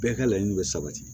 Bɛɛ ka laɲini bɛ sabati